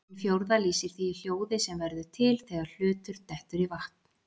Hin fjórða lýsir því hljóði sem verður til þegar hlutur dettur í vatn.